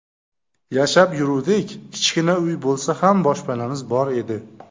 Yashab yuruvdik, kichkina uy bo‘lsa ham boshpanamiz bor edi.